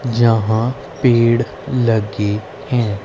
यहा पेड़ लगे हैं।